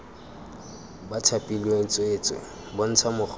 ba thapilweng tsweetswee bontsha mogolo